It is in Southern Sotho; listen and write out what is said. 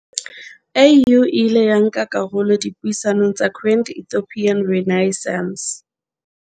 AU e ile ya nka karolo dipuisanong tsa Grand Ethiopian Renai ssance